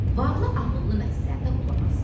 Varlı ağıllı məsləhətə qulaq asdı.